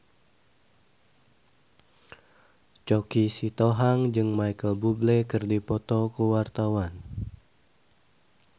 Choky Sitohang jeung Micheal Bubble keur dipoto ku wartawan